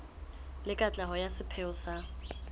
le katleho ya sepheo sa